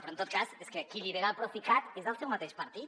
però en tot cas és que qui lidera el procicat és del seu mateix partit